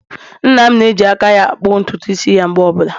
Nna'm na-eji aka ya-akpụ ntutu isi ya mgbe ọbụla.